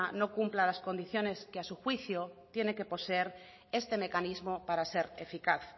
no cumpla las condiciones que a su juicio tiene que poseer este mecanismo para ser eficaz